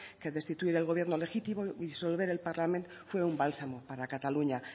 que destituir el gobierno legítimo disolver el parlament fue un bálsamo para cataluña